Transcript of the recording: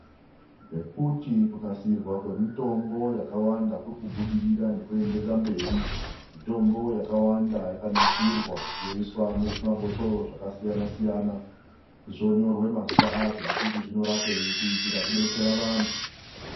NGEKUTI KUNASIRWA KWEMUTOMBO KWAKAWANDA KURIKUBUDIRIRA NEKUENDERERA MBERI. MITOMBO YAKAWANDA YAKANASIRWA YOISWA MUZVIMABHOTORO ZVAKASIYANA SIYANA ZVONYORWE MAZITA AZVO NEKUTI ZVINORAPEI, KUITIRA KUBETSERA VANTU.